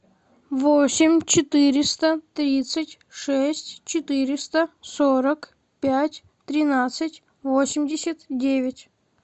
восемь четыреста тридцать шесть четыреста сорок пять тринадцать восемьдесят девять